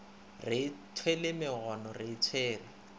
re ithwele megono re itshwere